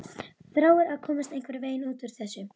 Þráir að komast einhvern veginn út úr þessu.